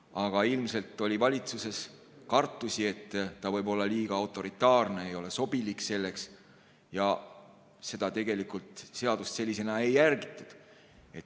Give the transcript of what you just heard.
Aga ilmselt oli valitsuses kartusi, et ta võib olla liiga autoritaarne, ei ole sobilik selleks, ja seda seadust sellisena ei järgitud.